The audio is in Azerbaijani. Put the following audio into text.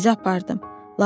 Sizi apardım.